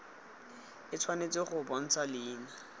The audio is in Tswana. e tshwanetse go bontsha leina